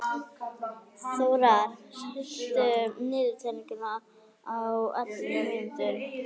Þórar, stilltu niðurteljara á ellefu mínútur.